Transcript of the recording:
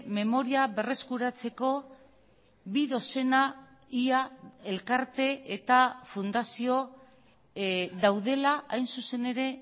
memoria berreskuratzeko bi dozena ia elkarte eta fundazio daudela hain zuzen ere